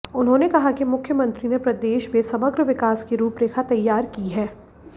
उन्होंने कहा कि मुख्यमंत्री ने प्रदेश में समग्र विकास की रूपरेखा तैयार की है